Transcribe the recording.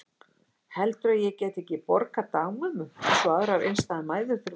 Heldurðu að ég geti ekki borgað dagmömmu eins og aðrar einstæðar mæður þurfa að gera?